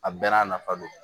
A bɛɛ n'a nafa don